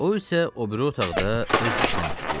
O isə o biri otaqda öz işinə məşğul idi.